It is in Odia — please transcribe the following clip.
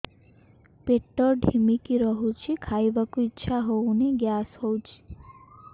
ପେଟ ଢିମିକି ରହୁଛି ଖାଇବାକୁ ଇଛା ହଉନି ଗ୍ୟାସ ହଉଚି